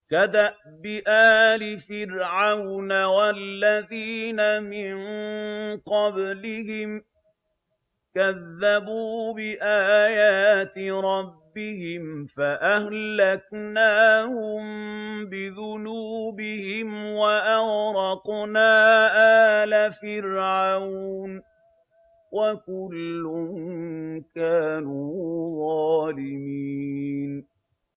كَدَأْبِ آلِ فِرْعَوْنَ ۙ وَالَّذِينَ مِن قَبْلِهِمْ ۚ كَذَّبُوا بِآيَاتِ رَبِّهِمْ فَأَهْلَكْنَاهُم بِذُنُوبِهِمْ وَأَغْرَقْنَا آلَ فِرْعَوْنَ ۚ وَكُلٌّ كَانُوا ظَالِمِينَ